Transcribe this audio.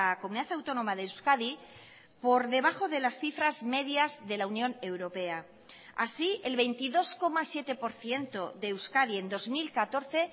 comunidad autónoma de euskadi por debajo de las cifras medias de la unión europea así el veintidós coma siete por ciento de euskadi en dos mil catorce